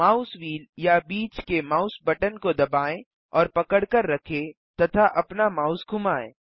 mouse wheel या बीच के माउस बटन को दबाएँ और पकड़कर रखें तथा अपना माउस घुमाएँ